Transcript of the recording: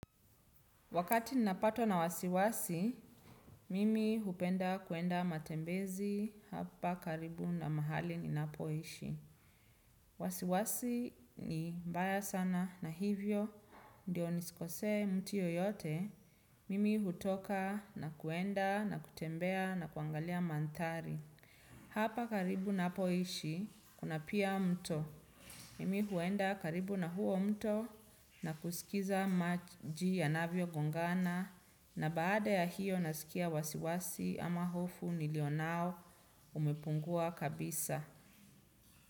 Wakati ninapatwa na wasiwasi, mimi hupenda kuenda matembezi hapa karibu na mahali ninapoishi. Wasiwasi ni mbaya sana na hivyo, ndio nisikosee mtu yoyote, mimi hutoka na kuenda na kutembea na kuangalia maandhari. Hapa karibu napoishi, kuna pia mto. Mimi huenda karibu na huo mto na kusikiza maji yanavyo gongana na baada ya hiyo nasikia wasiwasi ama hofu nilio nao umepungua kabisa.